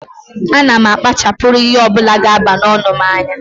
A na m akpachapuru ihe ọ bụla ga aba n'ọnụ m anya